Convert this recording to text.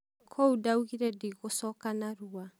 kũu daugire ndigũcoka narua.